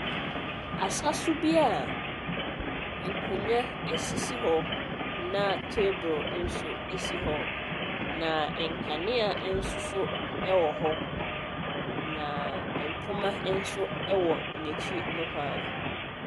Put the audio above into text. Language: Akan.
Asa so bi a nkonnwa sisi hɔ. Na table nso si hɔ. Na nkanea nso so wɔ hɔ. Na mpoma nso wɔ n'akti nohoa.